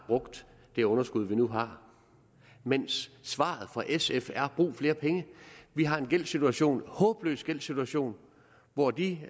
det underskud vi nu har mens svaret fra sf er brug flere penge vi har en gældssituation en håbløs gældssituation og de